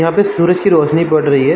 यहाँ पे सूरज की रौशनी पड़ रही है।